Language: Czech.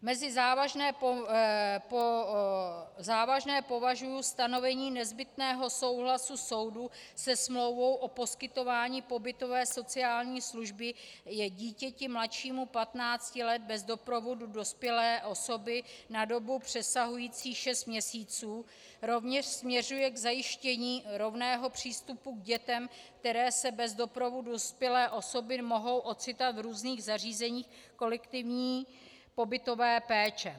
Mezi závažné považuji stanovení nezbytného souhlasu soudu se smlouvou o poskytování pobytové sociální služby dítěti mladšímu 15 let bez doprovodu dospělé osoby na dobu přesahující šest měsíců, rovněž směřuje k zajištění rovného přístupu k dětem, které se bez doprovodu dospělé osoby mohou ocitat v různých zařízeních kolektivní pobytové péče.